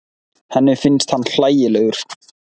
Henni finnst hann hlægilegur.